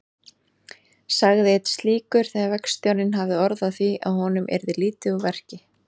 sagði einn slíkur þegar verkstjórinn hafði orð á því að honum yrði lítið úr verki.